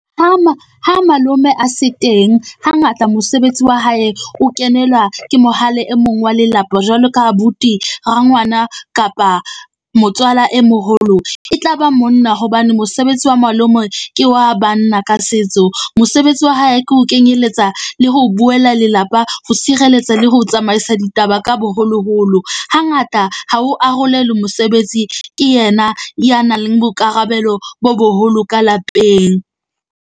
Ha ha malome a se teng, hangata mosebetsi wa hae o kenelwa ke mohale, e mong wa lelapa jwalo ka abuti, rangwana kapa motswala e moholo. E tla ba monna hobane mosebetsi wa malome ke wa banna ka setso. Mosebetsi wa hae ke ho kenyeletsa le ho buella lelapa, ho sireletsa le ho tsamaisa ditaba ka boholoholo hangata ha ho arolelwe mosebetsi. Ke yena ya nang le boikarabelo bo boholo ka lapeng.